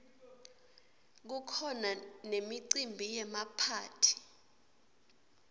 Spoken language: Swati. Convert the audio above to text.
kukhona nemicimbi yemaphayhi